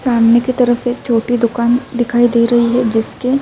سامنے کی طرف ایک چھوٹی دکان دکھائی دے رہی ہے جسکے --